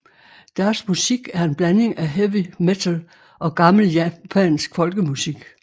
Deres musik er en blanding af heavy metal og gammel japansk folkemusik